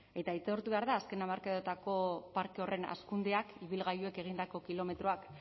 eta aitortu behar da azken hamarkadetako parke horren hazkundeak ibilgailuek egindako kilometroak